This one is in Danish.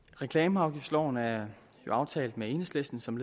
reklameafgiftsloven er aftalt med enhedslisten som